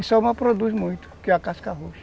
E só uma produz muito, que é a casca roxa.